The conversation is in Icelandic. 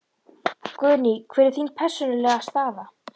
Guðný: Hver er þín persónulega staða?